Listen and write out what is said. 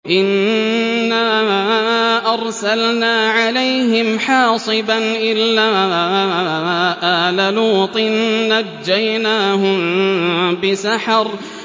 إِنَّا أَرْسَلْنَا عَلَيْهِمْ حَاصِبًا إِلَّا آلَ لُوطٍ ۖ نَّجَّيْنَاهُم بِسَحَرٍ